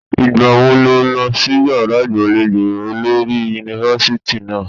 Ìgbà wo ló lọ sí yàrá ìgbàlejò olórí yunifásítì náà?